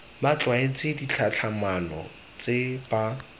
ba tlwaetse ditlhatlhamano tse ba